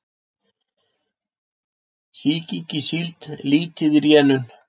Sýking í síld lítið í rénun